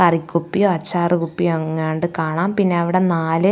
കറികുപ്പി അച്ചാർ കുപ്പി എങ്ങാണ്ട് കാണാം പിന്നെ അവിടെ നാല്--